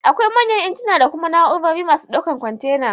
Akwai manyan injina da kuma na'urorin masu ɗaukan kwantena